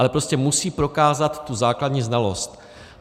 Ale prostě musí prokázat tu základní znalost.